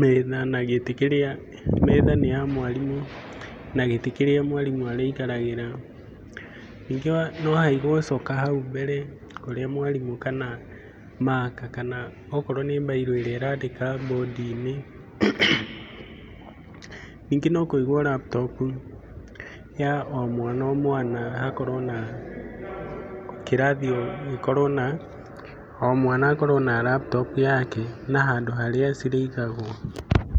metha na gĩtĩ kĩrĩa, metha nĩ ya mwarimũ, na gĩtĩ kĩrĩa mwarimũ arĩikaragĩra. Ningĩ no haigwo coka hau mbere, ũrĩa mwarimũ, kana maka, kana okorwo nĩ mbairũ ĩrĩa ĩrandĩka mbũndi-inĩ. Ningĩ no kũigwo laptop, ya o mwana o mwana hakorwo na kĩrathi o gĩkorwo na, o mwana akorwo na laptop yake na handũ harĩa cirĩigagwo.